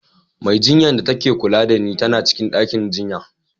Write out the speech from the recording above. Mai jinyar da ta ke kula da ni tana cikin ɗakin jinya.